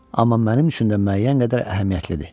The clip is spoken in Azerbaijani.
Amma mənim üçün də müəyyən qədər əhəmiyyətlidir.